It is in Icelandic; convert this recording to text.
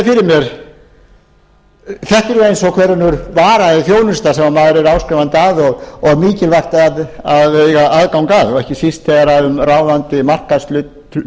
mér að þetta er eins og ákveðin vara eða þjónusta sem maður er áskrifandi að og mikilvægt að eiga aðgang að ekki síst þegar um ráðandi markaðshlutdeild